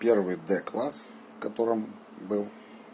первый д класс в котором был